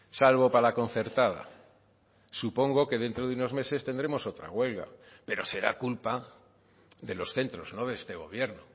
salvo para la concertada supongo que dentro de unos meses tendremos otra huelga pero será culpa de los centros no de este gobierno